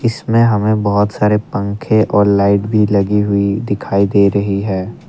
इसमें हमें बहुत सारे पंखे और लाइट भी लगी हुई दिखाई दे रही है ।